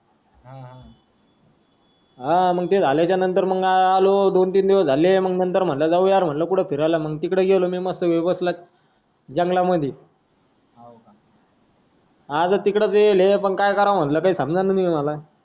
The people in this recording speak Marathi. हा मंग ते झाल्याचा नंतर आलो दोन तीन दिवस झाले जाउयार म्हंटल कुठ फिरायला तिकडे गेलो मिमस्त पैकी जंगलामधी हवं का अजून तिकडंच हे पण काय करावं म्हंटल समजत नाय तिकडं मला